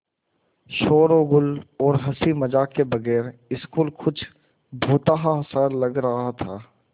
शोरोगुल और हँसी मज़ाक के बगैर स्कूल कुछ भुतहा सा लग रहा था